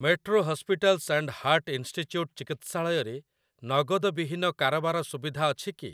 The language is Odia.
Metro Hospitals and Heart Institute ଚିକିତ୍ସାଳୟରେ ନଗଦ ବିହୀନ କାରବାର ସୁବିଧା ଅଛି କି?